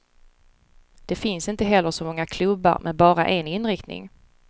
Det finns inte heller så många klubbar med bara en inriktning.